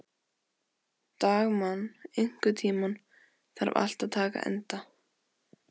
Dagmann, einhvern tímann þarf allt að taka enda.